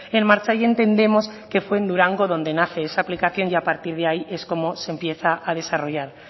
en marcha y entendemos que fue en durango donde nace esa aplicación y a partir de ahí es como se empieza a desarrollar